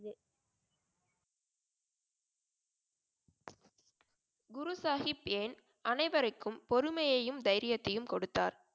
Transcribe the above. குரு சாகிப் ஏன் அனைவர்க்கும் பொறுமையையும் தைரியத்தையும் கொடுத்தார்?